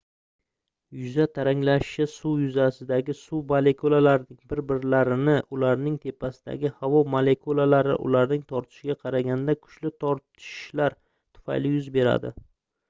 yuza taranglashishi suv yuzasidagi suv molekulalarining bir-birlarini ularning tepasidagi havo molekulalari ularni tortishiga qaraganda kuchli tortishlari tufayli yuz beradi